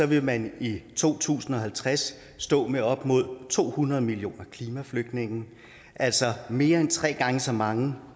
vil man i to tusind og halvtreds stå med op mod to hundrede millioner klimaflygtninge altså mere end tre gange så mange